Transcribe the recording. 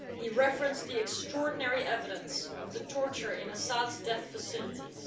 He referenced the extraordinary evidence of the torture in Assad's death facilities.